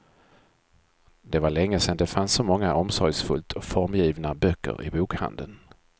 Det var länge sen det fanns så många omsorgsfullt formgivna böcker i bokhandeln.